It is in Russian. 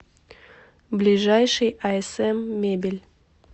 ближайший асм мебель